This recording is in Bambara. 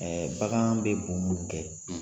Bagan bɛ bon min kɛ.